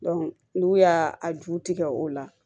n'u y'a a ju tigɛ o la